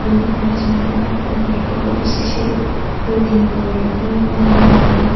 nyak lo chong taga taka gari koh kha to seh sari ga di khanyak anyi ngan taiga.